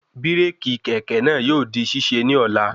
Bíràkì kẹ̀kẹ́ náà yóò di ṣíṣe ní ọ̀la